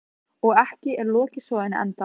Og ekki er lokið sögunni ennþá.